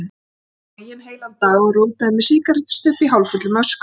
Hann sat boginn heilan dag, og rótaði með sígarettustubb í hálffullum öskubakka.